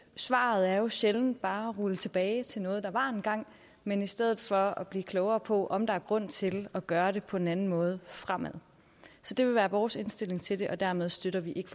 svaret er jo sjældent bare at rulle tilbage til noget der var engang men i stedet for at blive klogere på om der er grund til at gøre det på en anden måde fremadrettet så det vil være vores indstilling til det og dermed støtter vi ikke